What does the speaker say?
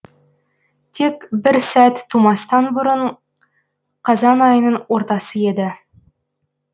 тек бір сәт тумастан бұрын қазан айының ортасы еді